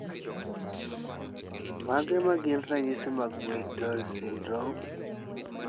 Mage magin ranyisi mag Muir Torre syndrome?